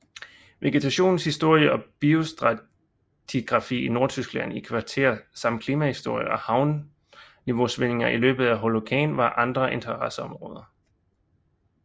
Vegetationens historie og biostratigrafi i Nordtyskland i kvartær samt klimahistorie og havniveausvingninger i løbet af Holocæn var andre interesseområder